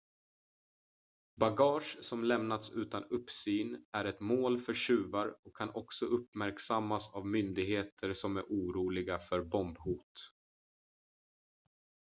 bagage som lämnats utan uppsyn är ett mål för tjuvar och kan också uppmärksammas av myndigheter som är oroliga för bombhot